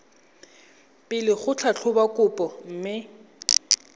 pele go tlhatlhoba kopo mme